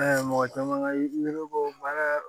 mɔgɔ caman ka ne ko baara